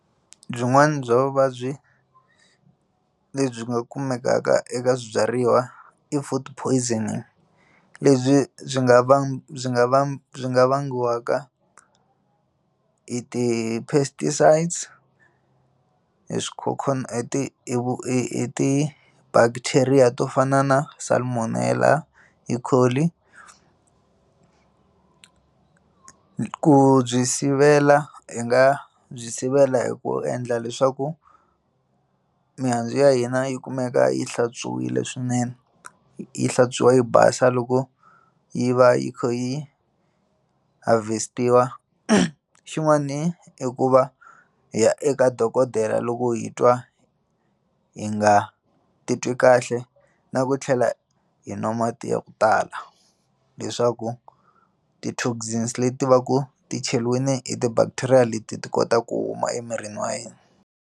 Byin'wana bya vuvabyi lebyi nga kumekaka eka swibyariwa i food poisoning lebyi byi nga va byi nga va byi nga vangiwaka hi ti pesticides hi Hi ti bacteria to fana na salmonela ku byi sivela hi nga byi sivela hi ku endla leswaku mihandzu ya hina yi kumeka yi hlantswiwile swinene yi hlantswiwa yi basa loko yi va yi kha yi harvest-iwa xin'wani i ku va hi ya eka dokodela loko hi twa hi nga titwi kahle na ku tlhela hi nwa mati ya ku tala leswaku ti toxins leti va ku ti cheliwini hi ti bacteria leti ti kota ku huma emirini wa hina.